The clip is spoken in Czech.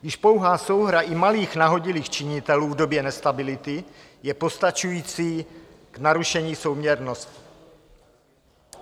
Již pouhá souhra i malých nahodilých činitelů v době nestability je postačující k narušení souměrnosti.